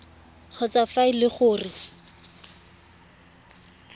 kgotsa fa e le gore